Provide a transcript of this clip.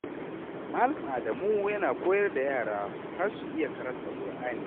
Malam Adamu yana koyar da yara har su iya karanta Ƙur’ani.